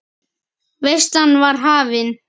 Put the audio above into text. Veislan var hafin.